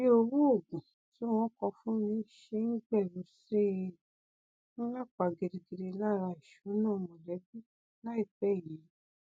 bí owó òògùn tí wọn kọ fúnni ṣe n gbèrú sí i n lapa gidigidi lára ìṣúná mọlẹbí láìpẹ yìí